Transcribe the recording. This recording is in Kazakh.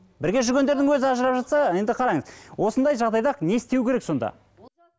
бірге жүргендердің өзі ажырап жатса енді қараңыз осындай жағдайда не істеу керек сонда